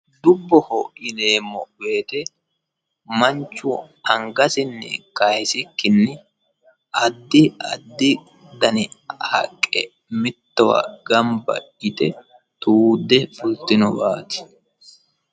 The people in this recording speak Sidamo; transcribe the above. Dubboho yineemmo woyte manchu angasinni kayisikkinni addi addi haqqe mittowa gamba yte tuudde fultinowati.